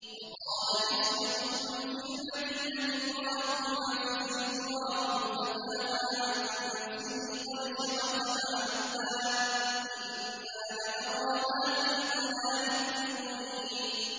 ۞ وَقَالَ نِسْوَةٌ فِي الْمَدِينَةِ امْرَأَتُ الْعَزِيزِ تُرَاوِدُ فَتَاهَا عَن نَّفْسِهِ ۖ قَدْ شَغَفَهَا حُبًّا ۖ إِنَّا لَنَرَاهَا فِي ضَلَالٍ مُّبِينٍ